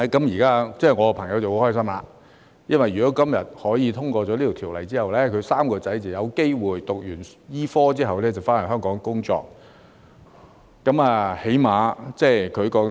現在我的朋友很開心，因為如果今天這項條例獲得通過，他的3名兒子便有機會在醫科畢業後返回香港工作。